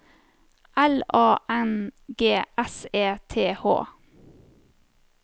L A N G S E T H